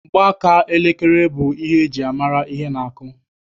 Mgbaaka elekere bụ ihe eji-amara ihe na-akụ.